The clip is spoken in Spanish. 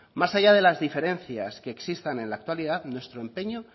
más allá de las diferencias que existan en la actualidad nuestro empeño